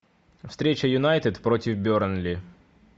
встреча юнайтед против бернли